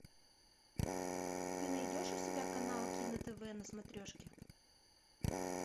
ты найдешь у себя канал кино тв на смотрешке